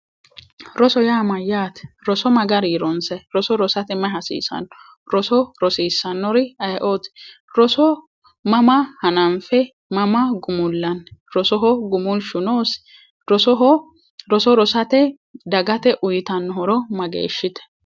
Roso yaa mayyaate roso mayi garinni ronsayi roso rosate marichi hasiisanno roso rosiissannori aye"ooti roso mama hananfi mama gumullanni rosoho gumulshu noodsi roso rosa dagate uyitanno horo mageeshshite